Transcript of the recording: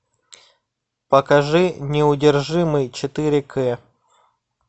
покажи неудержимый четыре к